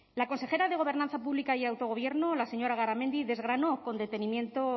la consejera de gobernanza pública y autogobierno la señora garamendi desgranó con detenimiento